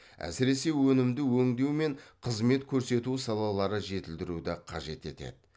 әсіресе өнімді өңдеу мен қызмет көрсету салалары жетілдіруді қажет етеді